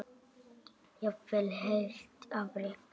Jafnvel heilt afrek?